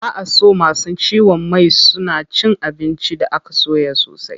Ba a so masu ciwon mai suna cin abinci da aka soya sosai.